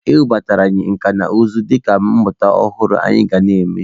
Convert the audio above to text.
E webatara anyị nka na ụzụ dịka mmụta ọhụrụ anyị ga na-eme.